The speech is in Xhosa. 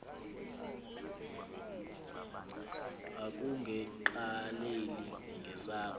akunge qaleli ngesakho